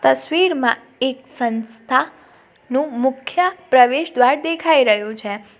તસવીરમાં એક સંસ્થા નું મુખ્ય પ્રવેશ દ્વાર દેખાઈ રહયું છે.